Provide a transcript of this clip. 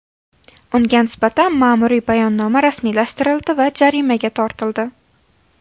Unga nisbatan ma’muriy bayonnoma rasmiylashtirildi va jarimaga tortildi.